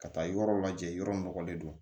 Ka taa yɔrɔ lajɛ yɔrɔ nɔgɔlen don